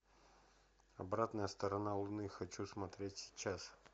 обратная сторона луны хочу смотреть сейчас